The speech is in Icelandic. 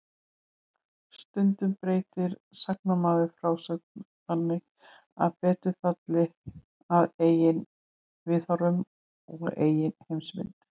Stundum breytir sagnamaður frásögn þannig að betur falli að eigin viðhorfum og eigin heimsmynd.